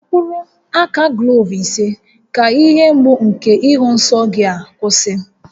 Taa mkpụrụ aka gloovu ise ka ihe mgbu nke ịhụ nsọ gị ga-akwụsị